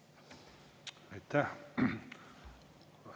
Aitäh!